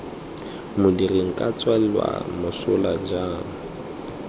modiri nka tswelwa mosola jang